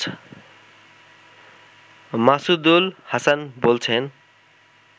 মাসুদুল হাসান বলছেন